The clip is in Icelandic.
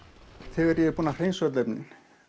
þegar ég er búinn að hreinsa öll efni